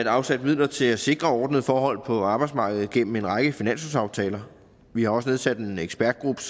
afsat midler til at sikre ordnede forhold på arbejdsmarkedet gennem en række finanslovsaftaler vi har også nedsat en ekspertgruppe